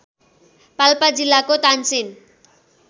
पाल्पा जिल्लाको तानसेन